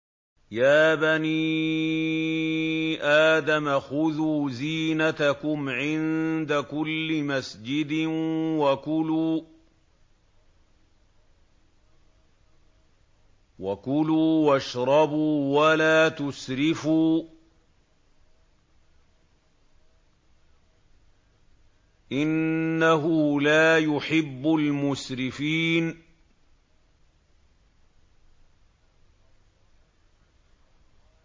۞ يَا بَنِي آدَمَ خُذُوا زِينَتَكُمْ عِندَ كُلِّ مَسْجِدٍ وَكُلُوا وَاشْرَبُوا وَلَا تُسْرِفُوا ۚ إِنَّهُ لَا يُحِبُّ الْمُسْرِفِينَ